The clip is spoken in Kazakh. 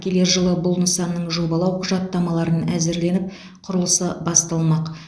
келер жылы бұл нысанның жобалау құжаттамаларын әзірленіп құрылысы басталмақ